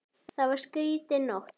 Það var skrýtin nótt.